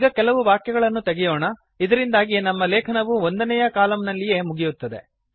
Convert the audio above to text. ಈಗ ಕೆಲವು ವಾಕ್ಯಗಳನ್ನು ತೆಗೆಯೋಣ ಇದರಿಂದಾಗಿ ನಮ್ಮ ಲೇಖನವು ಒಂದನೇಯ ಕಾಲಮ್ ನಲ್ಲಿಯೇ ಮುಗಿಯುತ್ತದೆ